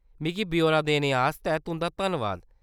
मिगी ब्यौरा देने आस्तै तुं'दा धन्नबाद।